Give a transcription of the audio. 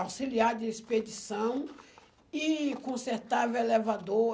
auxiliar de expedição e consertava elevador.